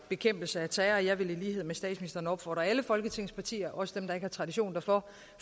bekæmpelse af terror og jeg vil i lighed med statsministeren opfordre alle folketingets partier også dem der ikke har tradition